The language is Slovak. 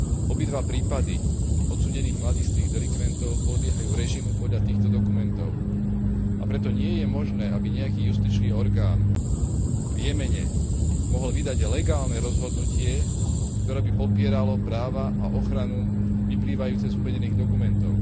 Obidva prípady odsúdených mladistvých delikventov podliehajú režimu podľa týchto dokumentov, a preto nie je možné, aby nejaký justičný orgán v Jemene mohol vydať legálne rozhodnutie, ktoré by popieralo práva a ochranu vyplývajúce z uvedených dokumentov.